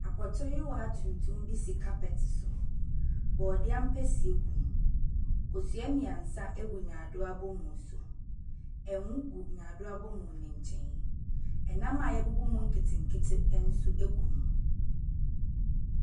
Apɔtɔwia tuntum be si carpet so. Bɔdiɛ ampesie gum, kosua mmiɛnsa egu nyaadoa abomu so, ɛnwo gu nyaadoa abomu no nkyɛn. Ɛnam a yɛbubu mu nketenkete nso egu hɔ.